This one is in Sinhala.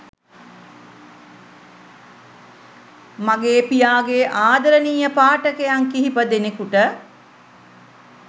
මගේ පියාගේ ආදරණීය පාඨකයන් කිහිප දෙනෙකුට